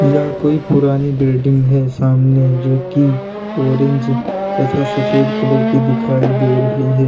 यह कोई पुरानी बिल्डिंग है सामने जो की ऑरेंज तथा सफेद कलर की दिखाई दे रही है।